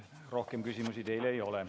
Rohkem küsimusi teile ei ole.